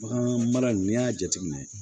Bagan mara n'i y'a jateminɛ